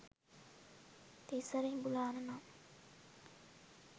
තිසර ඉඹුලාන නම්